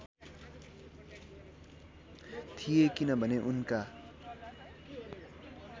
थिए किनभने उनका